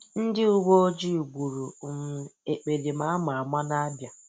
Ndị uwe ojii gburu um ekperima a ma ama n'Abịa.